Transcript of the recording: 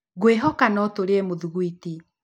Ngwĩhoka no tũrĩe mĩthuguĩti